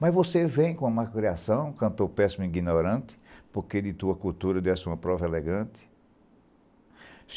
Mas você vem com a má criação, cantor péssimo e ignorante, por que de tua cultura dessa uma prova elegante?